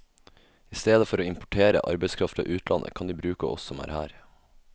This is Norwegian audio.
I stedet for å importere arbeidskraft fra utlandet, kan de bruke oss som er her.